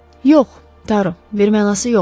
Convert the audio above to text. Yox, Taru, bir mənası yoxdur.